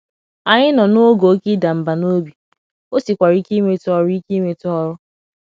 Anyị nọ n’oge Oké ịda mba n'ọbi, o sikwara ike inweta ọrụ ike inweta ọrụ.